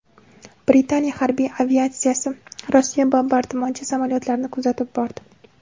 Britaniya harbiy aviatsiyasi Rossiya bombardimonchi samolyotlarini kuzatib bordi.